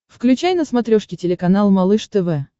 включай на смотрешке телеканал малыш тв